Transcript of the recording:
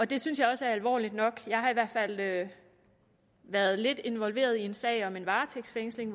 det synes jeg også er alvorligt nok jeg har i hvert fald været været lidt involveret i en sag om en varetægtsfængsling